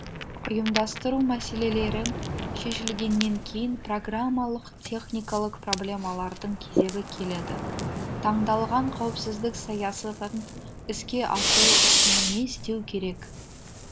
ұйымдастыру мәселелерін шешілгеннен кейін программалық техникалық проблемалардың кезегі келеді таңдалған қауіпсіздік саясатын іске асыру үшін не істеу керек